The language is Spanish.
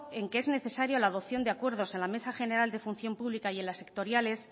en que es necesaria la adopción de acuerdos en la mesa general de función pública y en las sectoriales